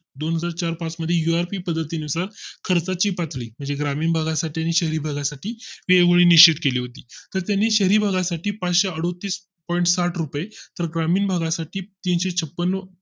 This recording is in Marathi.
दोनहजार चार पाच मध्ये URP पद्धतीनुसार खर्चाची पातळी म्हणजे ग्रामीण भागा साठी शहरी भागा साठी एवढी निश्चित केली होती त्यांनी शहरी भागा साठी पाचशे अडोतीस point साथ रुपये तर ग्रामीण भागा साठी तीनशे छपन्न